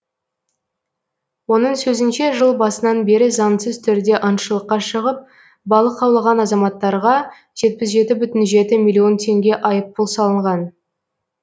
оның сөзінше жыл басынан бері заңсыз түрде аңшылыққа шығып балық аулаған азаматтарға жетпіс жеті бүтін жеті миллион теңге айыппұл салынған